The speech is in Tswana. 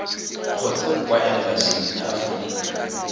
kgotsa kwa embasing ya aforika